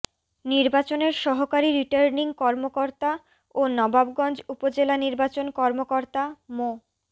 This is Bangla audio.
নির্বাচনের সহকারী রিটার্নিং কর্মকর্তা ও নবাবগঞ্জ উপজেলা নির্বাচন কর্মকর্তা মো